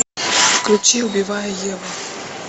включи убивая еву